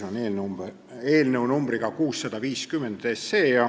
Teie ees on eelnõu numbriga 650.